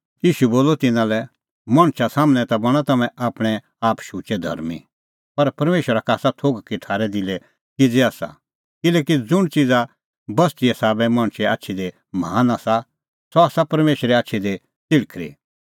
ईशू बोलअ तिन्नां लै मणछा सम्हनै ता बणां तम्हैं आपणैं आप शुचै धर्मीं पर परमेशरा का आसा थोघ कि थारै दिलै किज़ै आसा किल्हैकि ज़ुंण च़िज़ाबस्तिए साबै मणछे आछी दी महान आसा सह आसा परमेशरे आछी दी च़िल़्हखरी